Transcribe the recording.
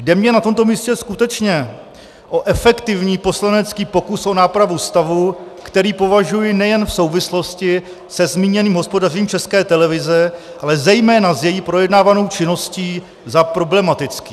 Jde mně na tomto místě skutečně o efektivní poslanecký pokus o nápravu stavu, který považuji nejen v souvislosti se zmíněným hospodařením České televize, ale zejména s její projednávanou činností za problematický.